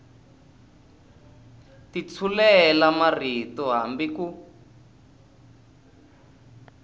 ti tshulela marito hambi ku